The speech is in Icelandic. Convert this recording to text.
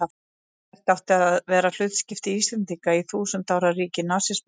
Hvert átti að vera hlutskipti Íslendinga í þúsund ára ríki nasismans?